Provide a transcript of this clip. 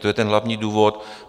To je ten hlavní důvod.